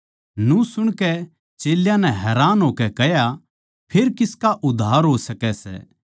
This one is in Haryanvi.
न्यू सुणकै चेल्यां नै हैरान होकै कह्या फेर किसका उद्धार हो सकै सै